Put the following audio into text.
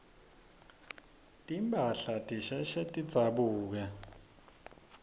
timphahla tisheshe tidzabuke